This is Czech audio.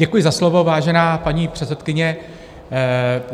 Děkuji za slovo, vážená paní předsedkyně.